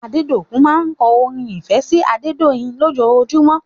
Adedokun máa ń kọ́ orin ìfẹ́ sí Adedoyin lòjojumọ́